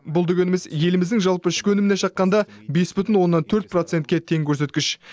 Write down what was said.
бұл дегеніміз еліміздің жалпы ішкі өніміне шаққанда бес бүтін оннан төрт процентке тең көрсеткіш